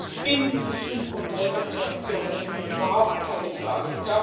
Ich bin für Such und Rettungsaktionen das ist überhaupt keine Frage.